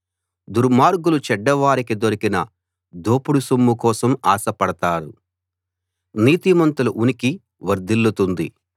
దుర్మార్గులు చెడ్డవారికి దొరికిన దోపుడు సొమ్ము కోసం ఆశపడతారు నీతిమంతుల ఉనికి వర్ధిల్లుతుంది